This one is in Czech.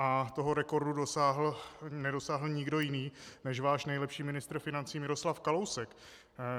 A toho rekordu nedosáhl nikdo jiný než váš nejlepší ministr financí Miroslav Kalousek.